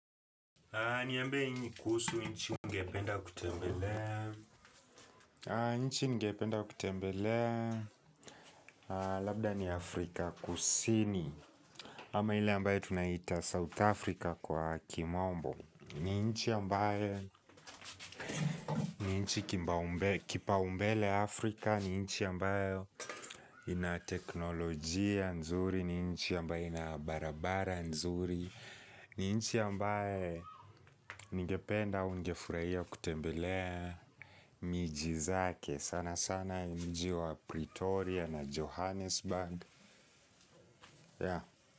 Niambie ni kuhusu nchi ungependa kutembelea nchi ngependa kutembelea Labda ni Afrika kusini Ama ile ambaye tunaita South Africa kwa kimombo ni nchi ambaye ni nchi kipa umbele, kipa umbele Afrika ni nchi ambaye ina teknolojia nzuri ni nchi ambaye ina barabara nzuri ni nchi ambaye ningependa au ningefurahia kutembelea miji zake sana sana mji wa Pretoria na Johannesburg.